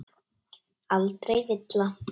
Aldrei villa.